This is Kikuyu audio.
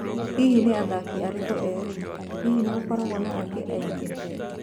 Hihi nĩ athaki arĩkũ erũ? Hihi nĩ gũgakorwo na angĩ aingĩ?